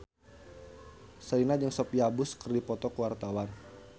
Sherina jeung Sophia Bush keur dipoto ku wartawan